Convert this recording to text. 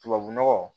Tubabu nɔgɔ